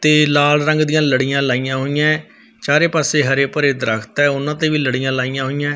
ਤੇ ਲਾਲ ਰੰਗ ਦੀਆਂ ਲੜੀਆਂ ਲਾਈਆਂ ਹੋਈਐਂ ਚਾਰੇ ਪਾਸੇ ਹਰੇ ਭਰੇ ਦਰਖਤ ਆ ਉਹਨਾਂ ਤੇ ਵੀ ਲੜੀਆਂ ਲਾਈਆਂ ਹੋਈਐਂ।